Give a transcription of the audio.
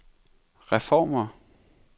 reformer